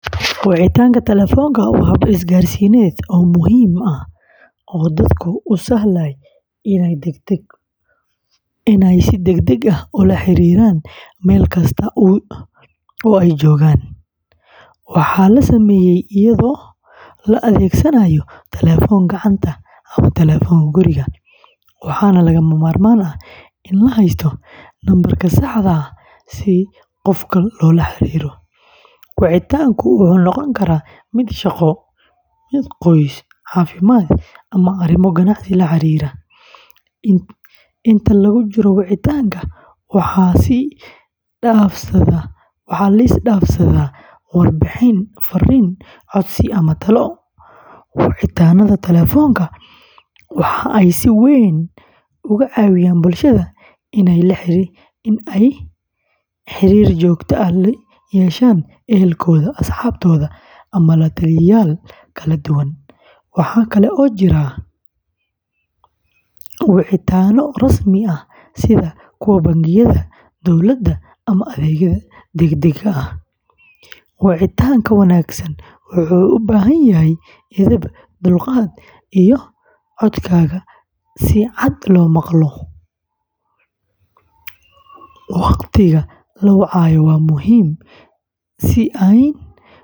Wacitaanka telefoonka waa hab isgaarsiineed oo muhiim ah oo dadka u sahlaya inay si degdeg ah ula xiriiraan meel kasta oo ay joogaan. Waxaa la sameeyaa iyadoo la adeegsanaayo telefoon gacanta ama telefoon guriga, waxaana lagama maarmaan ah in la haysto nambar sax ah si qofka loola xiriiro. Wacitaanku wuxuu noqon karaa mid shaqo, qoys, caafimaad, ama arrimo ganacsi la xiriira. Inta lagu jiro wicitaanka, waxaa la is dhaafsadaa warbixin, fariin, codsi ama talo. Wicitaannada telefoonka waxa ay si weyn uga caawiyaan bulshada in ay xiriir joogto ah la yeeshaan ehelkooda, asxaabtooda, ama la-taliyayaal kala duwan. Waxaa kale oo jira wicitaanno rasmi ah sida kuwa bangiyada, dowladda ama adeegyada degdegga ah. Wicitaanka wanaagsan wuxuu u baahan yahay edeb, dulqaad, iyo in codkaaga si cad loo maqlo. Waqtiga la wacayo waa muhiim.